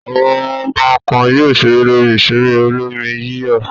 Àwọn ọmọ kan yóò ṣeré lórí ìṣeré olómi-yíyọ̀.